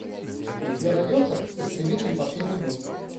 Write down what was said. у тебя найдется истребители последний бой